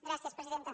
gràcies presidenta